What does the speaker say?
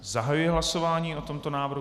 Zahajuji hlasování o tomto návrhu.